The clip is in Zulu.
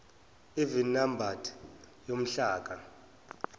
even numbered yomhlaka